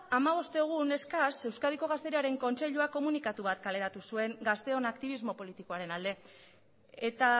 hamabost egun eskas euskadiko gazteriaren kontseiluak komunikatu bat kaleratu zuen gazteon aktibismo politikoaren alde eta